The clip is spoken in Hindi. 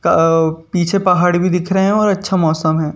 पीछे पहाड़ भी दिख रहे हैं और अच्छा मौसम है।